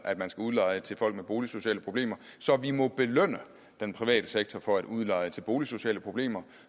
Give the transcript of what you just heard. at man skal udleje til folk med boligsociale problemer så vi må belønne den private sektor for at udleje til boligsociale problemer